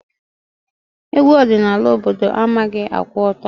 Egwu ọdịnala obodo managhị akwụ ọtọ.